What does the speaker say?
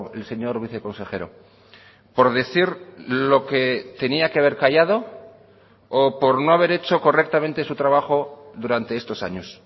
el señor viceconsejero por decir lo que tenía que haber callado o por no haber hecho correctamente su trabajo durante estos años